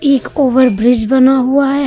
एक over bridge बना हुआ है।